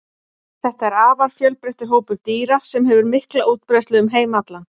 Þetta er afar fjölbreyttur hópur dýra sem hefur mikla útbreiðslu um heim allan.